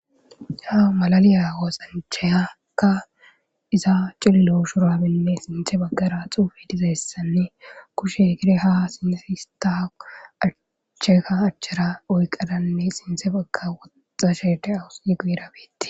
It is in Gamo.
Ha malaliyaa woosanchayakka iza cililo shurabinne sinthe baggara xuufe dizayessanne kushe gire ha sinsista accheka achchara oyqadanne sinte bagga woxxa shede awussi guirabetti.